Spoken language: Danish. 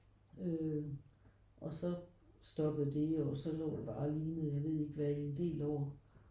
Øh og så stoppede det jo og så lå det bare og lignede jeg ved ikke hvad i en del år